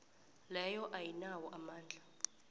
leyo ayinawo amandla